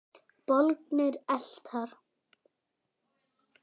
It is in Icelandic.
Bólgnir eitlar